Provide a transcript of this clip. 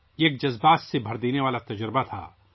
یہ ایک جذباتی تجربہ تھا